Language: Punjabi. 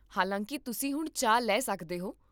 ਹਾਲਾਂਕਿ, ਤੁਸੀਂ ਹੁਣ ਚਾਹ ਲੈ ਸਕਦੇ ਹੋ